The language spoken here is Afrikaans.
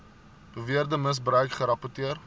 beweerde misbruik gerapporteer